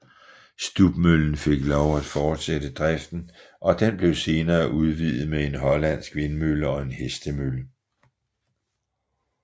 Stubmøllen fik lov at fortsætte driften og den blev senere udvidet med en hollandsk vindmølle og en hestemølle